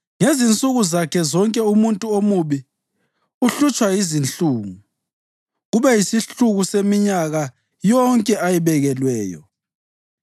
Ngezinsuku zakhe zonke umuntu omubi uhlutshwa yizinhlungu, kube yisihluku seminyaka yonke ayibekelweyo.